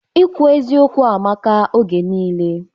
Ikwu eziokwu amaka oge nile